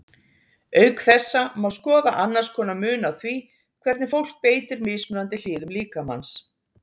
Auk þessa má skoða annars konar mun á því hvernig fólk beitir mismunandi hliðum líkamans.